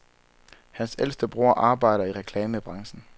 Hans ældste bror arbejder i reklamebranchen.